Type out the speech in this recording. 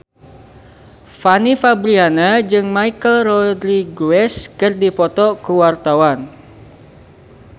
Fanny Fabriana jeung Michelle Rodriguez keur dipoto ku wartawan